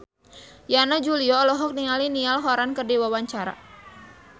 Yana Julio olohok ningali Niall Horran keur diwawancara